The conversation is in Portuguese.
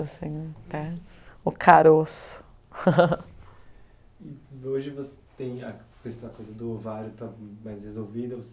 assim até, o caroço. E hoje você tem a coisa da coisa do ovário está mais resolvida